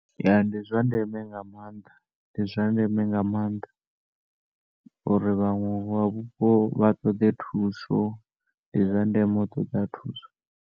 Ya ndizwa ndeme nga maanḓa ndi zwa ndeme nga maanḓa uri vhaṅwe vha vhupo vha ṱoḓe thuso. Ndi zwa ndeme u ṱoḓa thuso.